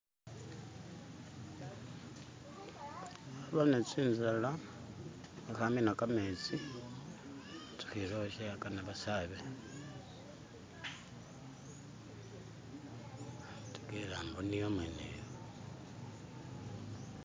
nabone tsinzala aha amina kametsi atsuhilila uwashawe akana basaabe ategela mboniyo umweno yo